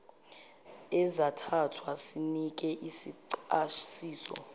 ezathathwa sinike isichasiso